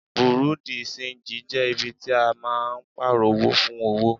Bùréú dì ṣenjì jẹ́ ibi tí a máa ń Pààrọ̀ owó fún owó